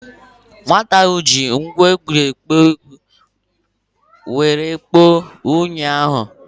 Nwata ahụ ji ngwa eji ekpo unyi kporo unyi ahụ.